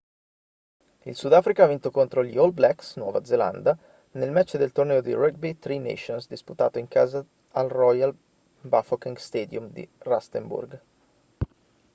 il sudafrica ha vinto contro gli all blacks nuova zelanda nel match del torneo di rugby tri nations disputato in casa al royal bafokeng stadium di rustenburg